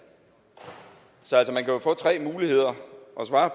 så man kan jo få tre muligheder for at svare